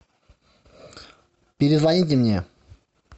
перезвоните мне